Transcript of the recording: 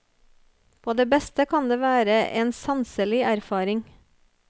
På det beste kan det være en sanselig erfaring.